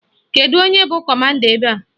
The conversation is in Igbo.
Kedụ onye bụ kọmanda ebe a?